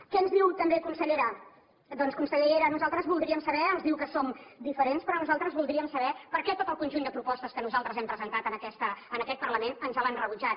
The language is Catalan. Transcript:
què ens diu també consellera doncs consellera nosaltres voldríem saber ens diu que som diferents però nosaltres voldríem saber per què tot el conjunt de propostes que nosaltres hem presentat en aquest parlament ens les han rebutjat